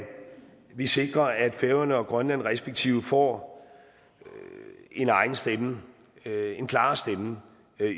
vi sikrer at færøerne og grønland respektive får en egen stemme en klarere stemme